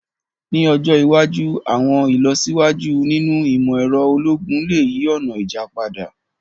Ni ọjọ iwaju, àwọn ilọsiwaju ninu imọ-ẹrọ ologun le yi ọna ija pada.